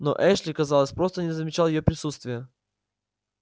но эшли казалось просто не замечал её присутствия